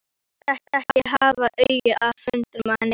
Hann gat ekki haft augun af höndunum á henni.